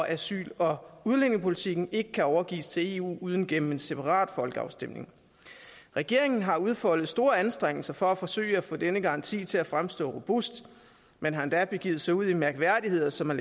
asyl og udlændingepolitikken ikke kan overgives til eu uden gennem en separat folkeafstemning regeringen har udfoldet store anstrengelser for at forsøge at få denne garanti til at fremstå robust man har endda begivet sig ud i mærkværdigheder som at